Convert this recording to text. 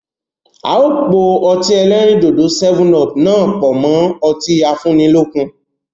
Áà ó po o Ọtí ẹlẹ́rìndòdò "7up" náà pọ mọ ọtí afúnilókun